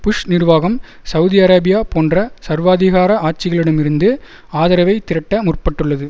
push நிர்வாகம் Saudi Arabia போன்ற சர்வாதிகார ஆட்சிகளிடம் இருந்து ஆதரவை திரட்ட முற்பட்டுள்ளது